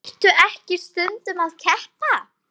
Ertu ekki stundum að keppa?